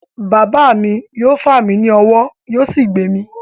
Bàbá mi yóò fà mí ní ọwọ́ yóò sì gbé mi.